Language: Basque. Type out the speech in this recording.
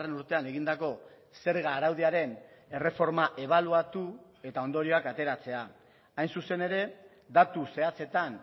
urtean egindako zerga araudiaren erreforma ebaluatu eta ondorioak ateratzea hain zuzen ere datu zehatzetan